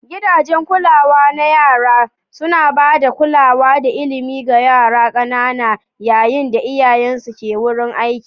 Gidajen kulawar yara suna ba da kulawa da ilimi ga yara ƙanana yayin da iyayensu ke wurin aiki.